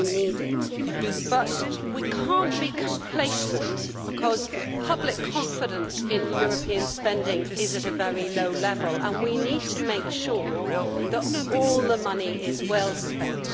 We need it, but we cannot be complacent because public confidence in European spending is at a very low level and we need to make sure that all the money is well spent.